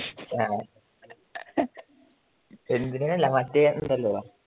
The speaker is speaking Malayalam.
ആ മറ്റേ ഉണ്ടല്ലോ